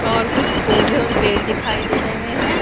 और कुछ पौधे और पेड़ दिखाई दे रहे हैं।